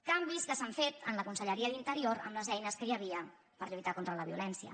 canvis que s’han fet en la conselleria d’interior amb les eines que hi havia per lluitar contra la violència